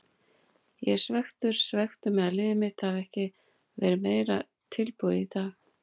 Ég er svekktur, svekktur með að liðið mitt hafi ekki verið meira tilbúið í dag.